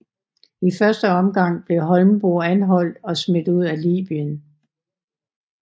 I første omgang blev Holmboe anholdt og smidt ud af Libyen